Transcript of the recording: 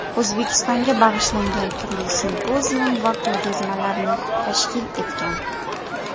O‘zbekistonga bag‘ishlangan turli simpozium va ko‘rgazmalarni tashkil etgan.